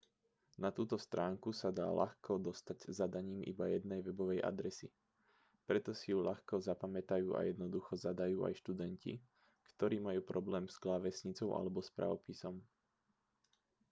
na túto stránku sa dá ľahko dostať zadaním iba jednej webovej adresy preto si ju ľahko zapamätajú a jednoducho zadajú aj študenti ktorí majú problém s klávesnicou alebo s pravopisom